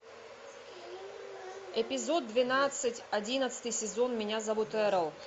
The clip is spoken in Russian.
эпизод двенадцать одиннадцатый сезон меня зовут эрл